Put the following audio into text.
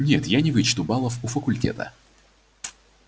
нет я не вычту баллов у факультета